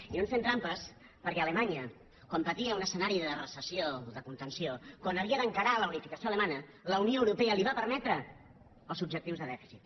i no ens fem trampes perquè a alemanya quan patia un escenari de recessió de contenció quan havia d’encarar la unificació alemanya la unió europea li va permetre els objectius de dèficit